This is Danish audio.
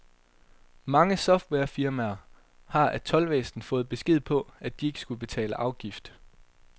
Mange softwarefirmaer har af toldvæsenet fået besked på, at de ikke skulle betale afgift.